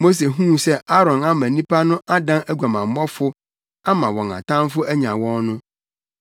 Mose huu sɛ Aaron ama nnipa no adan aguamammɔfo ama wɔn atamfo anya wɔn no,